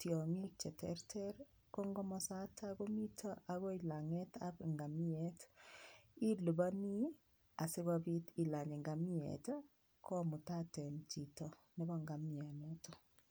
tiongik cheterter kokomosata komito akoi langet ab ngamiet ilipani sikopit ilany ngamiet komutaten cheto nebo nhamiet